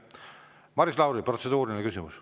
Maris Lauri, protseduuriline küsimus.